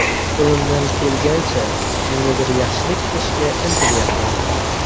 Qo‘limdan kelganicha kimgadir yaxshilik qilishga intilyapman.